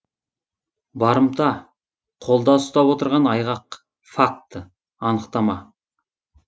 барымта қолда ұстап отырған айғақ факт анықтама